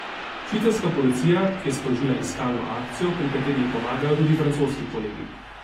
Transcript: Švicarska policija je sprožila iskalno akcijo, pri kateri ji pomagajo tudi francoski kolegi.